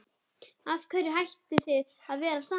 Af hverju hættuð þið að vera saman?